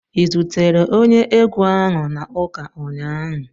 Ị zutere onye egwu ahụ na ụka ụnyaahụ?